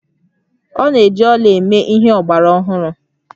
A na-eji ọla eme ihe ọgbara ọhụrụ